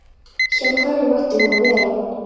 Hjá hverjum ætti hún að vera?